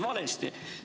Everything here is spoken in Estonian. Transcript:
Sa nimetasid valesti.